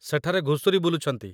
ସେଠାରେ ଘୁଷୁରି ବୁଲୁଛନ୍ତି।